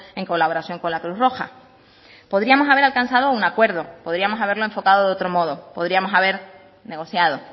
en colaboración con la cruz roja podríamos haber alcanzado un acuerdo podríamos haberlo enfocado de otro modo podríamos haber negociado